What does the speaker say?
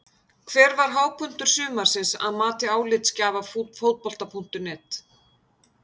Hver var hápunktur sumarsins að mati álitsgjafa Fótbolta.net?